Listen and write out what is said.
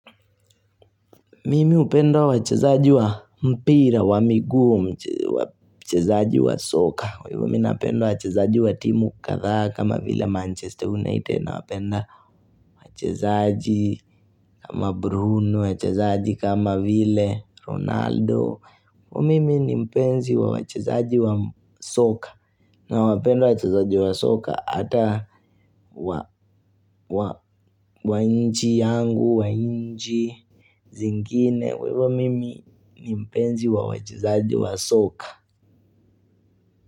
Mimi hupenda wachezaji wa mpira, wa miguu, wachezaji wa soka. Kwa hivyo mi napenda wachezaji wa timu kadhaa kama vile Manchester United nawapenda wachezaji kama Bruno, wachezaji kama vile Ronaldo. Mimi ni mpenzi wa wachezaji wa soka nawapenda wachezaji wa soka ata wa nchi yangu, wa nchi zingine. Kwa hivyo mimi ni mpenzi wa wachezaji wa soka.